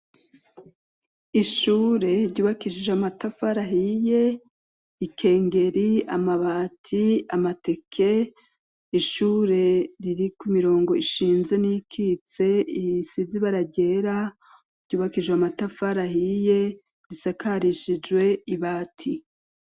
Ishure ryubakishije amatafa rahiye ikengeri amabati amateke ishure riri ku mirongo ishinze n'ikitse iyisizi bara ryera ryubakishije amatafa rahiye risakarishijwe ibati.